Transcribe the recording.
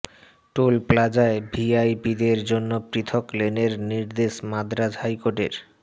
toll প্লাজায় ভিআইপিদের জন্য পৃথক লেনের নির্দেশ মাদ্রাজ হাইকোর্টের